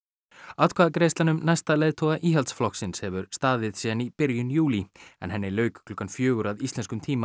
atkvæðagreiðslan um næsta leiðtoga Íhaldsflokksins hefur staðið síðan í byrjun júlí en henni lauk klukkan fjögur að íslenskum tíma